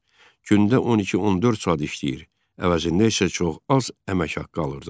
Gündə 12-14 saat işləyir, əvəzində isə çox az əmək haqqı alırdılar.